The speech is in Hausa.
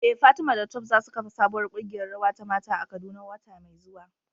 Eh Fatima da Tope za su kafa sabuwar kungiyar rawa ta mata a Kaduna wata mai zuwa.